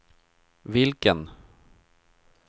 vilken